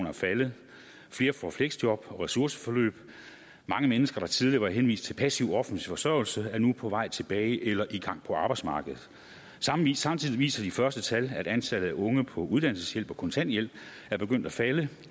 er faldet flere får fleksjob og ressourceforløb mange mennesker der tidligere var henvist til passiv offentlig forsørgelse er nu på vej tilbage til eller i gang på arbejdsmarkedet samtidig viser de første tal at antallet af unge på uddannelseshjælp og kontanthjælp er begyndt at falde